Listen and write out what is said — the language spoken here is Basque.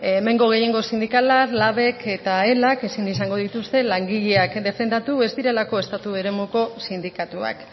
hemengo gehiengo sindikala labk eta elak ezin izango dituzte langileak defendatu ez direlako estatu eremuko sindikatuak